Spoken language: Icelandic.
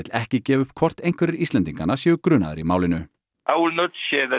ekki gefa upp hvort einhverjir Íslendinganna séu grunaðir í málinu